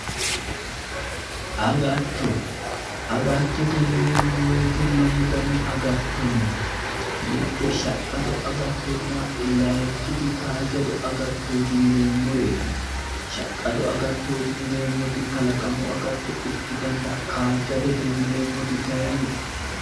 Agatto agattote yineemmo woyite lamu dani agatto no mitte shaqqado agattonna layinkiti kaajjado agattooti yineemmoreeti shaqqado agattooti yineemmoti kalaqamu agatto ikkitanna kaajjadote yineemmoti kayinni